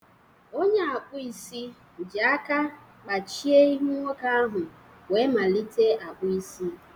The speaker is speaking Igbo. Onye akpụ isi ji akọ kpachie ihu nwoke ahụ wee malite akpụ isi.